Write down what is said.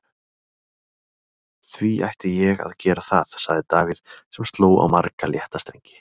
Því ætti ég að gera það? sagði Davíð sem sló á marga létta strengi.